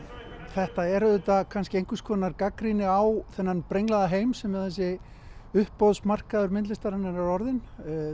þetta er auðvitað einhvers konar gagnrýni á þennan brenglaða heim sem þessi uppboðsmarkaður myndlistar er orðinn